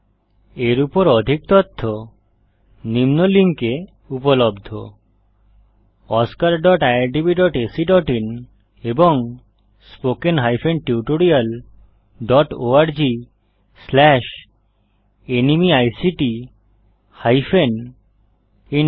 এর উপর অধিক তথ্য নিম্ন লিঙ্কে উপলব্ধ oscariitbacআইএন এবং spoken tutorialorgnmeict ইন্ট্রো